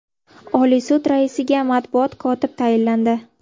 Oliy sud raisiga matbuot kotib tayinlandi.